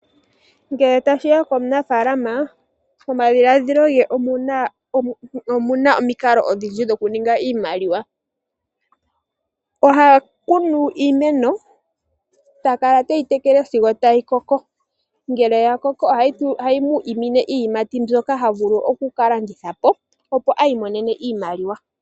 Ngele tashiya komunafaalama momadhiladhilo ge omuna omikalo odhindji dho ku ninga iimaliwa. Ohakunu iimeno ta kala teyi tekele sigo tayi koko. Ngele ya koko ohayi mu umine iiyimati mbyoka havulu oku kalandithapo opo I imonene iimaliwa.